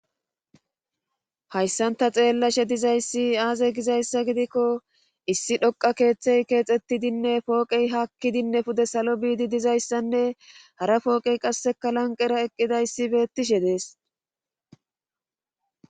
hayssan ta xeellashe dizayssi aaze gizayssa gidikko issi dhoqa keeththey keexettidinne pooqey hakkidinne pude salo biidi dizayssanne hara fooqey qasseka lanqera eqqidayssi beettishe dees